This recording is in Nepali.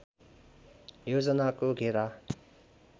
योजनको घेरा